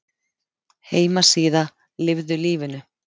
Heimasíða Lifðu lífinu